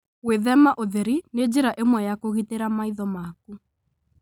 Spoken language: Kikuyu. Gwĩthema ũtheri nĩ njĩra ĩmwe ya kũgitĩra maitho maku.